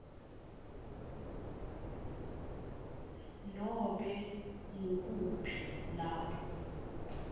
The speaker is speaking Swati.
nobe ngukuphi lapho